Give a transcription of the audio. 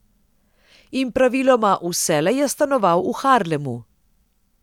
In praviloma vselej je stanoval v Harlemu.